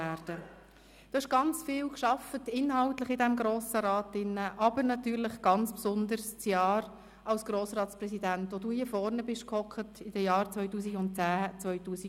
Du hast im Grossen Rat inhaltlich sehr viel gearbeitet, besonders jedoch im Jahr 2010/11, als du Grossratspräsident warst und hier vorn sassest.